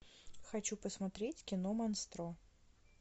хочу посмотреть кино монстро